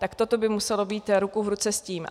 Tak toto by muselo být ruku v ruce s tím.